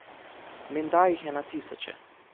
Menda jih je na tisoče.